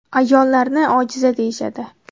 Ayollarni ojiza deyishadi.